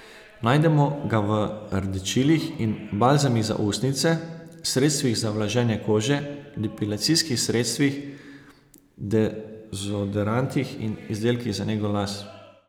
Najdemo ga v rdečilih in balzamih za ustnice, sredstvih za vlaženje kože, depilacijskih sredstvih, dezodorantih in izdelkih za nego las.